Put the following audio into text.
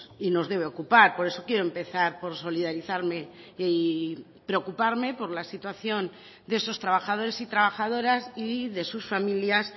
y nos debe ocupar por eso quiero empezar por solidarizarme y preocuparme por la situación de esos trabajadores y trabajadoras y de sus familias